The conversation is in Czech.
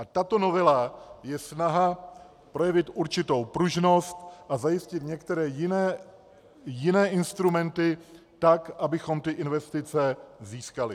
A tato novela je snaha projevit určitou pružnost a zajistit některé jiné instrumenty tak, abychom ty investice získali.